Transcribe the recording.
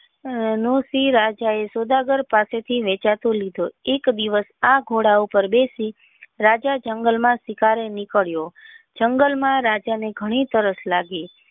રાજા એ સોદાગર પાસે થી વેચાતો લીધો એક દિવસ આ ઘોડા પાર બેસી રાજા જંગલ માં શિકાર એ નીકળ્યો જંગલ માં રાજા ને ઘણી તરસ લાગી,